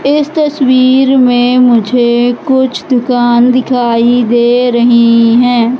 इस तस्वीर में मुझे कुछ दुकान दिखाई दे रही हैं।